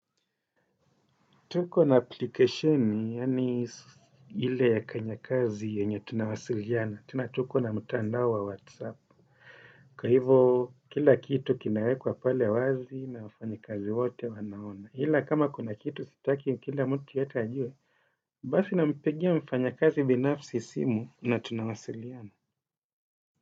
Tuko na application, yaani ile ya kanyakazi yenye tunawasiliana, tena tuko na mtandao wa whatsapp. Kwa hivo kila kitu kinawekwa pale wazi na wafanyakazi wote wanaona. Ila kama kuna kitu sitaki kila mtu yeyote ajue. Basi nampigia mfanyakazi binafsi simu na tunawasiliana.